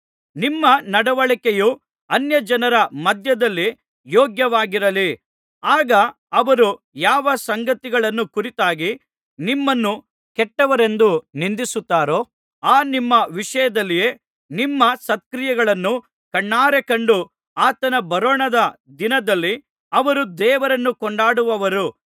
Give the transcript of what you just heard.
ನಿಮ್ಮ ನಡವಳಿಕೆಯು ಅನ್ಯಜನರ ಮಧ್ಯದಲ್ಲಿ ಯೋಗ್ಯವಾಗಿರಲಿ ಆಗ ಅವರು ಯಾವ ಸಂಗತಿಗಳನ್ನು ಕುರಿತಾಗಿ ನಿಮ್ಮನ್ನು ಕೆಟ್ಟವರೆಂದು ನಿಂದಿಸುತ್ತಾರೋ ಆ ನಿಮ್ಮ ವಿಷಯದಲ್ಲಿಯೇ ನಿಮ್ಮ ಸತ್ಕ್ರಿಯೆಗಳನ್ನು ಕಣ್ಣಾರೆ ಕಂಡು ಆತನ ಬರೋಣದ ದಿನದಲ್ಲಿ ಅವರು ದೇವರನ್ನು ಕೊಂಡಾಡುವರು